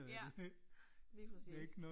Ja, lige præcis